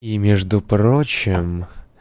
и между прочим